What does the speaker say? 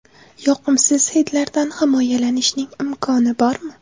Yoqimsiz hidlardan himoyalanishning imkoni bormi?